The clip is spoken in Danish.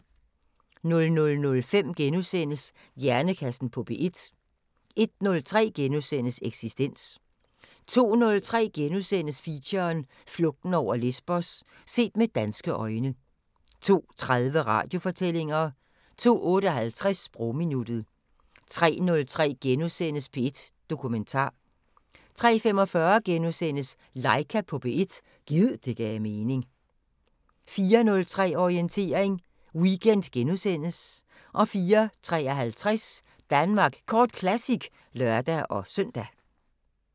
00:05: Hjernekassen på P1 * 01:03: Eksistens * 02:03: Feature: Flugten over Lesbos – set med danske øjne * 02:30: Radiofortællinger * 02:58: Sprogminuttet 03:03: P1 Dokumentar * 03:45: Laika på P1 – gid det gav mening * 04:03: Orientering Weekend * 04:53: Danmark Kort Classic (lør-søn)